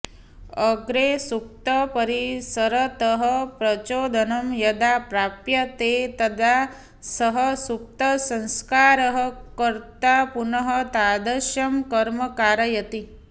अग्रे सूक्तपरिसरतः प्रचोदनं यदा प्राप्यते तदा सः सुप्तसंस्कारः कर्त्रा पुनः तादृशं कर्म कारयति